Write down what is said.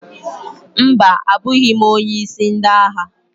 Mba, abụghị m onye isi ndị agha.